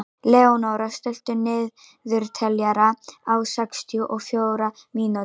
Leónóra, stilltu niðurteljara á sextíu og fjórar mínútur.